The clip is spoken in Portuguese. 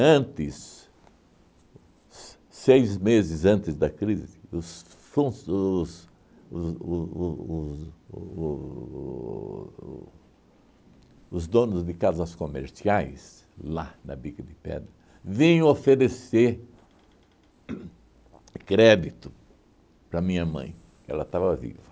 se seis meses antes da crise, os fun os os o o os o os donos de casas comerciais, lá na Bica de Pedra, vinham oferecer uhn crédito para minha mãe, ela estava viva.